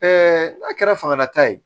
n'a kɛra fangala ta ye